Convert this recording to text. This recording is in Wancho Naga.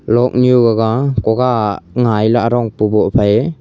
luak nu gaga kuga ngai la agong pu goh phai--